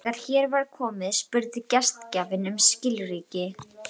Þegar hér var komið spurði gestgjafinn um skilríki.